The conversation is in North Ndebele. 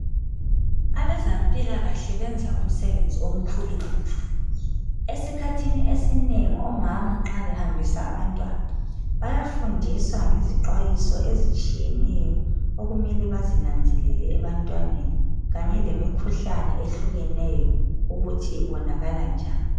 Abezempilakahle benza umsebenzi omkhulu kakhulu. Esikhathini esinengi omama nxa behambisa abantwana, bayafundiswa ngezixwayiso ezitshiyeneyo okumele bazinanzelele ebantwaneni, kanye lemikhuhlane ehlukeneyo ukuthi ibonakala njani.